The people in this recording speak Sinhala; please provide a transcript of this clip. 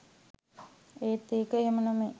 එත් ඒක එහෙම නෙමේ